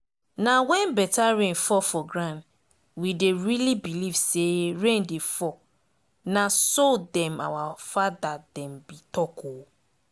nah when better rain fall for ground we dey really believe say rain dey fall nah so them our father dem be talk ooo